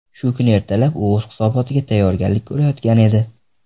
Shu kuni ertalab u o‘z hisobotiga tayyorgarlik ko‘rayotgan edi.